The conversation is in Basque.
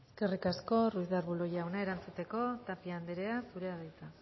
eskerrik asko ruiz de arbulo jauna erantzuteko tapia anderea zurea da hitza